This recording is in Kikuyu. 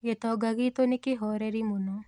Gĩtonga gitũ nĩ kĩhoreri mũno.